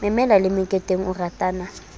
memela le meketeng o ratana